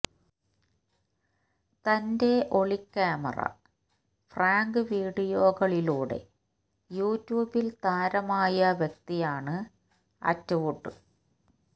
തന്റെ ഒളിക്യാമറാ പ്രാങ്ക് വീഡിയോകളിലൂടെ യൂട്യൂബിൽ താരമായ വ്യക്തിയാണ് അറ്റ് വുഡ്